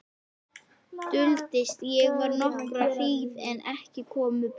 Duldist ég þar nokkra hríð en ekki komu börnin.